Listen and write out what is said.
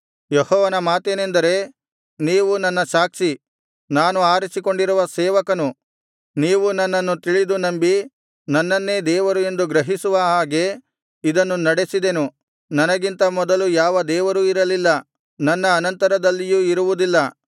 ಯೆಹೋವನ ಮಾತೇನೆಂದರೆ ನೀವು ನನ್ನ ಸಾಕ್ಷಿ ನಾನು ಆರಿಸಿಕೊಂಡಿರುವ ಸೇವಕನು ನೀವು ನನ್ನನ್ನು ತಿಳಿದು ನಂಬಿ ನನ್ನನ್ನೇ ದೇವರು ಎಂದು ಗ್ರಹಿಸುವ ಹಾಗೆ ಇದನ್ನು ನಡೆಸಿದೆನು ನನಗಿಂತ ಮೊದಲು ಯಾವ ದೇವರೂ ಇರಲಿಲ್ಲ ನನ್ನ ಅನಂತರದಲ್ಲಿಯೂ ಇರುವುದಿಲ್ಲ